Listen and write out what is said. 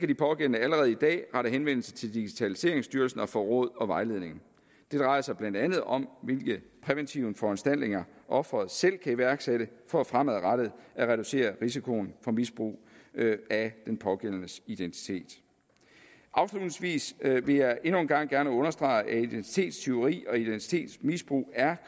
de pågældende allerede i dag rette henvendelse til digitaliseringsstyrelsen og få råd og vejledning det drejer sig blandt andet om hvilke præventive foranstaltninger offeret selv kan iværksætte for fremadrettet at reducere risikoen for misbrug af den pågældendes identitet afslutningsvis vil jeg endnu en gang gerne understrege at identitetstyveri og identitetsmisbrug er